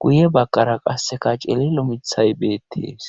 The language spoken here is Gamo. guye bakkara qasseka celelo mithay beettes